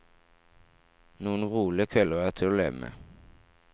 Noen rolige kvelder er til å leve med.